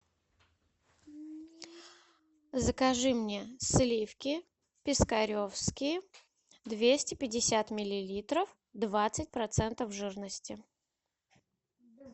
закажи мне сливки пискаревские двести пятьдесят миллилитров двадцать процентов жирности